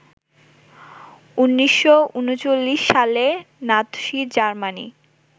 ১৯৩৯ সালে Nazi Germany